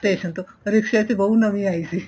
station ਤੋ ਰਿਕ੍ਸੇ ਤੇ ਬਹੂ ਨਵੀਂ ਆਈ ਸੀ